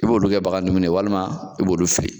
I b'olu kɛ bagan dumini ye walima i b'o dɔw feere .